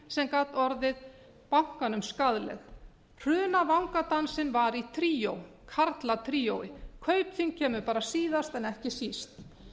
sem gat orðið bankanum skaðleg hrun og vangadansinn var í tríói karlatríói kaupþing kemur bara síðast en ekki síst